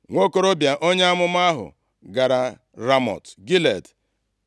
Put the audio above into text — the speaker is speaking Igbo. Nwokorobịa onye amụma ahụ gara Ramọt Gilead.